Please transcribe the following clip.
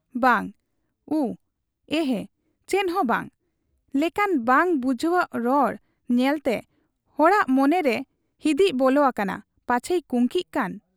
ᱵᱟᱝ, ᱩᱸ, ᱮᱦᱮ, ᱪᱮᱫᱦᱚᱸ ᱵᱟᱝ' ᱞᱮᱠᱟᱱ ᱵᱟᱝ ᱵᱩᱡᱷᱟᱹᱣᱜ ᱨᱚᱲ ᱧᱮᱞᱴᱮ ᱦᱚᱲᱟᱜ ᱢᱚᱱᱮᱨᱮ ᱦᱤᱫᱤᱡ ᱵᱚᱞᱚ ᱟᱠᱟᱱᱟ ᱯᱟᱪᱷᱮᱭ ᱠᱩᱝᱠᱤᱜ ᱠᱟᱱ ?